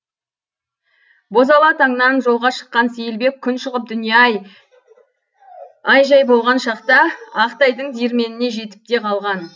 бозала таңнан жолға шыққан сейілбек күн шығып дүние ай жай болған шақта ақтайдың диірменіне жетіп те қалған